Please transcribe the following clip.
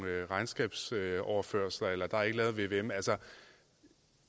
regnskabsoverførsler eller at der ikke er lavet vvm